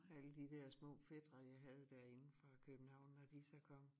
Alle de dér små fætre jeg havde derinde fra København når de så kom